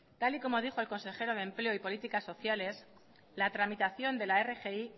tal y como dijo el consejero de empleo y políticas sociales la tramitación de la rgi